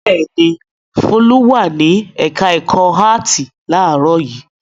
Bẹ́ẹ̀ ni, Folú wà ní ẹ̀ka-ẹ̀kọ́ áátì láàárọ̀ yìí.